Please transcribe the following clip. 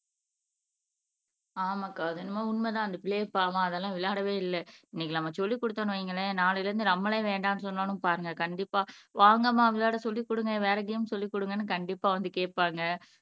ஆமாக்கா அது என்னமோ உண்மைதான் அந்த பிள்ளைங்க பாவம் அதெல்லாம் விளையாடவே இல்லை இன்னைக்கு நம்ம சொல்லிக் கொடுத்தோம்னு வைங்களேன் நாளையில இருந்து நம்மளே வேண்டாம்ன்னு சொன்னாலும் பாருங்க கண்டிப்பா வாங்கம்மா விளையாட சொல்லிக் கொடுங்க வேற கேம் சொல்லிக் கொடுங்கன்னு கண்டிப்பாக வந்து கேட்பாங்க